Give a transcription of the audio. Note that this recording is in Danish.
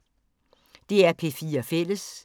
DR P4 Fælles